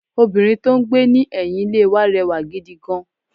Obìnrin tó n gbé ní ẹ̀yìn Ilé wa rẹwà gidi gan